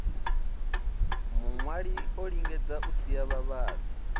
muṅwali olingedza u sia vhavhali